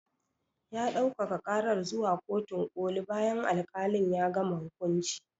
Ya ɗaukaka karar zuwa kotun koli bayan al-kalin ya gama hukunci